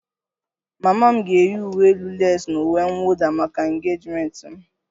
Mama m ga-eyi uwe elu leesi na uwe mwụda maka engejimenti m